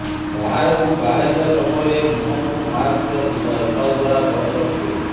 ବାହାରକୁ ବାହାରିବା ସମୟରେ ମୁହଁକୁ ମାସ୍କ କିମ୍ବା ରୁମାଲ ଦ୍ବାରା ବନ୍ଦ ରଖିବେ